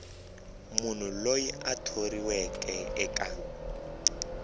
munhu loyi a thoriweke eka